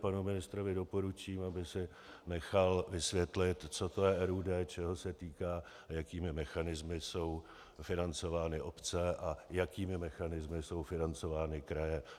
Panu ministrovi doporučím, aby si nechal vysvětlit, co to je RUD, čeho se týká, jakými mechanismy jsou financovány obce a jakými mechanismy jsou financovány kraje.